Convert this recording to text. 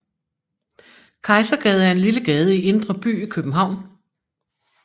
Kejsergade er en lille gade i Indre By i København